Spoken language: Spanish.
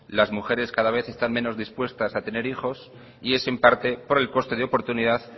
las mujeres cada vez están menos dispuestas a tener hijos y es en parte por el coste de oportunidad